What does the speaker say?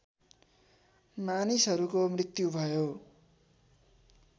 मानिसहरूको मृत्यु भयो